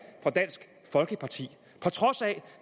for dansk folkeparti på trods af